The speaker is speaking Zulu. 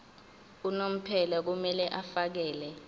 unomphela kumele afakele